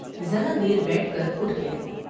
ذرا دیر بیٹھ کر اٹھ گیا ۔